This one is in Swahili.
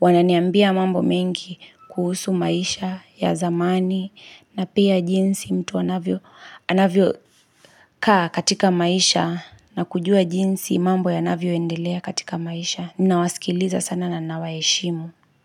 Wananiambia mambo mengi kuhusu maisha ya zamani na pia jinsi mtu anavyo anavyo kaa katika maisha na kujua jinsi mambo yanavyo endelea katika maisha. Nina wasikiliza sana na naweshimu.